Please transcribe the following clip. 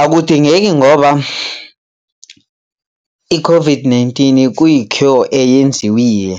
Akudingeki ngoba i-COVID-19 kuyi-cure eyenziwiye.